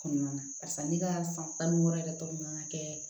Kɔnɔna na barisa ne ka san tan ni wɔɔrɔ yɛrɛ tɔ man kan ka kɛ